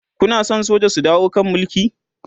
Kuna San soja su dawo kan Mulki?